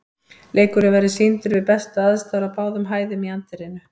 Leikurinn verður sýndur við bestu aðstæður á báðum hæðum í anddyrinu.